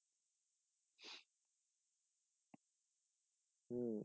হু